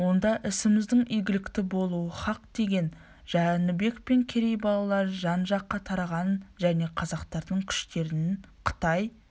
онда ісіміздің игілікті болуы хақ деген жәнібек пен керей балалары жан-жаққа тараған және қазақтардың күштерін қытай